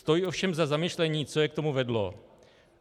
Stojí ovšem za zamyšlení, co je k tomu vedlo.